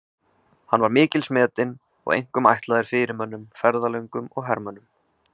Hann var mikils metinn og einkum ætlaður fyrirmönnum, ferðalöngum og hermönnum.